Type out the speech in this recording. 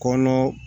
Kɔnɔ